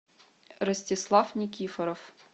ростислав никифоров